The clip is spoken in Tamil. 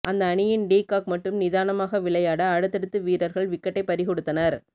அந்த அணியின் டி காக் மட்டும் நிதானமாக விளையட அடுத்தடுத்து வீரர்கள் விக்கெட்டை பறிகொடுத்தனர்